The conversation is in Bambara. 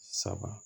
Saba